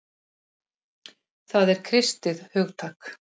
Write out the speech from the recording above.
Það er kristið hugtak.